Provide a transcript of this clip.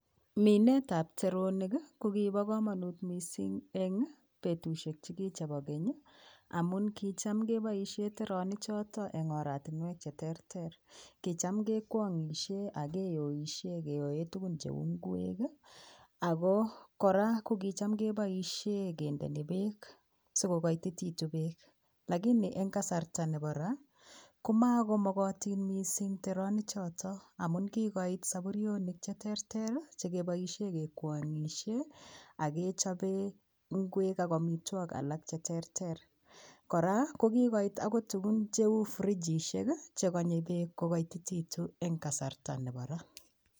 Minet tab teronik ko kibo komonut missing en betushek chukiche bo kenyi amun kicham keboishen teronik choton en oratinwek cheterter kicham kekwongishen ak kiboishen keyoe tukun cheu ingwek kii akoo Koraa ko kicham keboishen kindoni beek sikokotititun beek. Lakini en kasarta nebo raa komo komokotin missing teronik choton amun kikoit saburionik cheterter rii chekiboishen kekwonyishe ak kechobe ingwek ak omitwokik alak cheterter. Koraa ko kikoit okot tukun cheu frigisheki chekonue beek kokotititun en kasarta nebo raa.